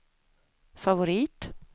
favorit